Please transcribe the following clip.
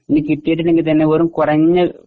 ഇനി കിട്ടിയിട്ടുണ്ടെങ്കിൽ തന്നെ വെറും കുറഞ്ഞ